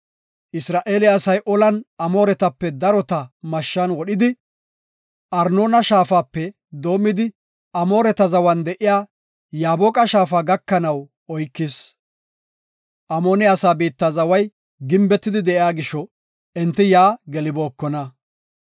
Isra7eele asay olan Amooretape darota mashshan wodhidi, Arnoona Shaafape doomidi, Amooneta zawan de7iya Yaaboqa shaafa gakanaw oykis. Amoone asaa biitta zaway gimbetidi de7iya gisho, enti yaa gelibookona.